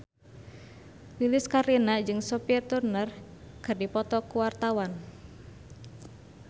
Lilis Karlina jeung Sophie Turner keur dipoto ku wartawan